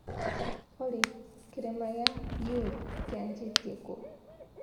olly kĩrĩma kĩa kyulu kĩanjatie kũ?